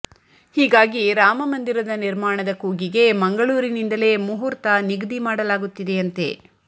ಹೀಗಾಗಿ ರಾಮ ಮಂದಿರದ ನಿರ್ಮಾಣದ ಕೂಗಿಗೆ ಮಂಗಳೂರಿನಿಂದಲೇ ಮುಹೂರ್ತ ನಿಗದಿ ಮಾಡಲಾಗುತ್ತಿದೆಯಂತೆ